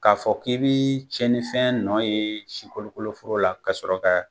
K'a fɔ k'i bi cɛnninfɛn nɔ ye sikolokoloforo la ka sɔrɔ ka